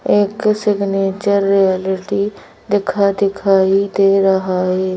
एक signature realty दिखा दिखाई दे रहा है।